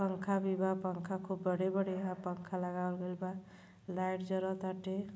पंखा भी बा पंखा खूब बड़े-बड़े हा पंखा लगावल गइल बा लाइट जरताटे।